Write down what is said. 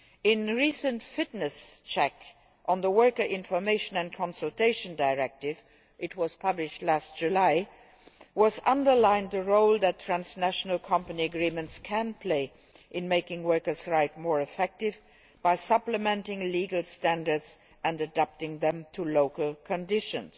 A recent fitness check on the Worker Information and Consultation Directive, published last July, underlined the role that transnational company agreements can play in making workers' rights more effective by supplementing legal standards and adapting them to local conditions.